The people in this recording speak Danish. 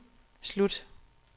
slut